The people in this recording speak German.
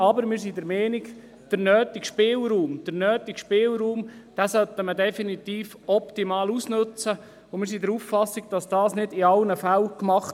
Aber der bestehende Spielraum sollte definitiv optimal genutzt werden, aber das wird nicht in allen Fällen so gemacht.